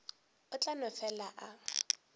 o tla no fela a